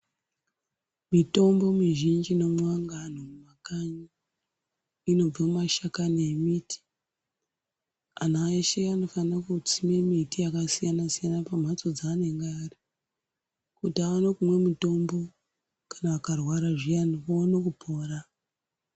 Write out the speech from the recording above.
Mitombo mizhinji inomwiwa ngeanhu mumakanyi inobve mumashakani emiti anhu aa eshe anofanire kusime miti yakasiyanasiyana kumhatso dzaanonga ari kuti aone kumwe mutombo kana akarwara zviyani aone kupona.